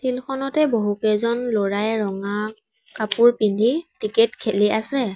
Field খনতে বহুকেইজন ল'ৰাই ৰঙা কাপোৰ পিন্ধি টিকেত খেলি আছে।